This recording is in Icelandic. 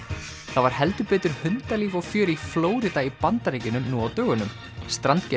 það var heldur betur hundalíf og fjör í Flórída í Bandaríkjunum nú á dögunum